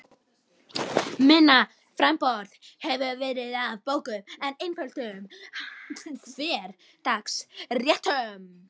Minna framboð hefur verið af bókum með einföldum hversdagsréttum.